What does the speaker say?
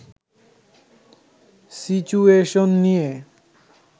situation নিয়ে